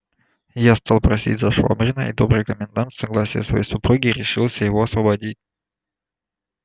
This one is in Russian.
я стал просить за швабрина и добрый комендант с согласия своей супруги решился его освободить